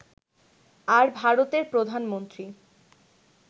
আর ভারতের প্রধানমন্ত্রী